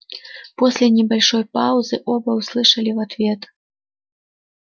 после небольшой паузы оба услышали в ответ